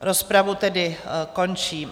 Rozpravu tedy končím.